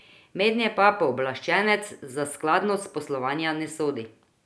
Mednje pa pooblaščenec za skladnost poslovanja ne sodi.